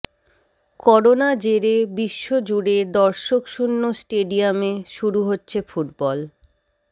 corona জেরে বিশ্ব জুড়ে দর্শকশূন্য স্টেডিয়ামে শুরু হচ্ছে ফুটবল